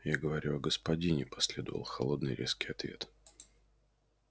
я говорю о господине последовал холодный резкий ответ